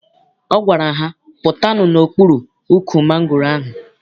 Ọ gwara ha, pụtanụ n'okpuru ukwu mangoro ahụ!